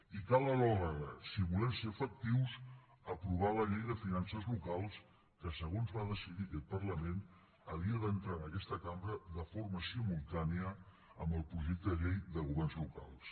i cal alhora si volem ser efectius aprovar la llei de finances locals que segons va decidir aquest parlament havia d’entrar en aquesta cambra de forma simultània amb el projecte de llei de governs locals